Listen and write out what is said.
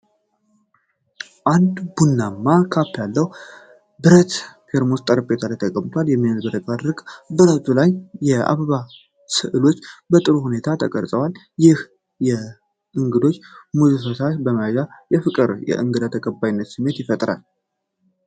አንድ ቡናማ ካፕ ያለው ብረት ቴርሞስ በጠረጴዛ ላይ ተቀምጧል። በሚያብረቀርቅ ብረቱ ላይ የአበባ ስዕሎች በጥሩ ሁኔታ ተቀርፀዋል፤ ይህም ለእንግዶች ሙቅ ፈሳሽ በማቅረብ የፍቅርና የእንግዳ ተቀባይነት ስሜትን ይፈጥራል።